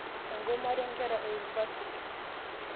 igomate nkera eunivasiti